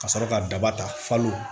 Ka sɔrɔ ka daba ta falen